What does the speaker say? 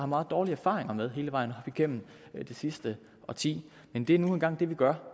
meget dårlige erfaringer med hele vejen op igennem det sidste årti men det er nu engang det vi gør